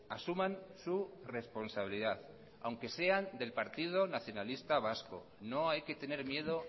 asuman su responsabilidad aunque sean del partido nacionalista vasco no hay que tener miedo